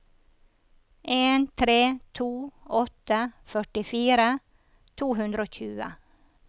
en tre to åtte førtifire to hundre og tjue